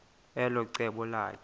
elo cebo lakhe